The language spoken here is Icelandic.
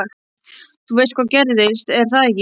Þú veist hvað gerðist, er það ekki?